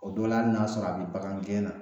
O dɔ la ali n'a sɔrɔ a be bagan gɛn na